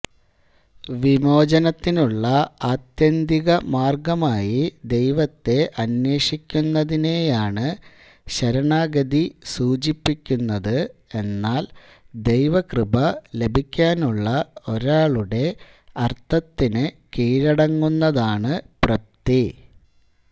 വിമോചനത്തിനുള്ള ആത്യന്തിക മാർഗ്ഗമായി ദൈവത്തെ അന്വേഷിക്കുന്നതിനെയാണ് ശരണാഗതി സൂചിപ്പിക്കുന്നത് എന്നാൽ ദൈവകൃപ ലഭിക്കാനുള്ള ഒരാളുടെ അർഥത്തിന് കീഴടങ്ങുന്നതാണ് പ്രപ്ത്തി